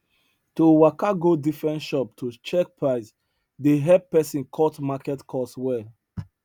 to waka go different shop to check price dey help person cut market cost well